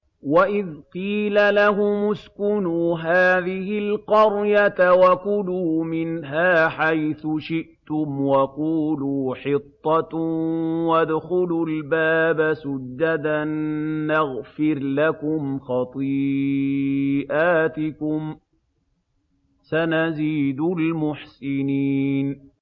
وَإِذْ قِيلَ لَهُمُ اسْكُنُوا هَٰذِهِ الْقَرْيَةَ وَكُلُوا مِنْهَا حَيْثُ شِئْتُمْ وَقُولُوا حِطَّةٌ وَادْخُلُوا الْبَابَ سُجَّدًا نَّغْفِرْ لَكُمْ خَطِيئَاتِكُمْ ۚ سَنَزِيدُ الْمُحْسِنِينَ